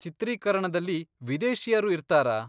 ಚಿತ್ರೀಕರಣದಲ್ಲಿ ವಿದೇಶೀಯರು ಇರ್ತಾರಾ?